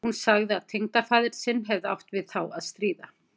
Hún sagði að tengdafaðir sinn hefði átt við þá að stríða.